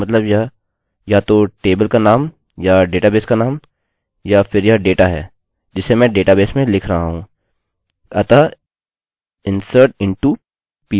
यदि मैं कुछ भी छोटे अक्षरों में लिखता हूँ इसका मतलब यह या तो टेबलतालिकाका नाम या डेटाबेस का नाम या फिर यह डेटा है जिसे मैं डेटाबेस में लिख रहा हूँ